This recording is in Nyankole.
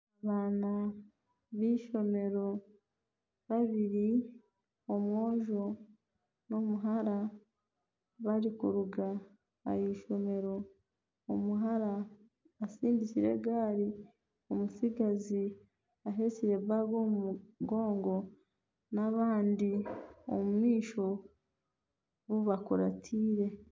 Abaana b'eishomero babiri, omwojo n'omuhara barikuruga ah'eishomero omuhara asindikire egaari, omutsigazi ahekire enshaho omu mugongo n'abandi omu maisho bu bakuratiire